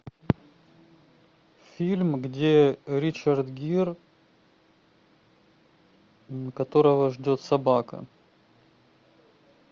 фильм где ричард гир которого ждет собака